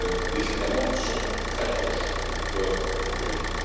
Les États membres sont très proches d'un accord, en vérité.